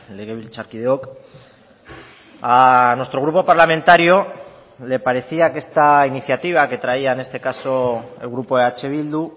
legebiltzarkideok a nuestro grupo parlamentario le parecía que esta iniciativa que traía en este caso el grupo eh bildu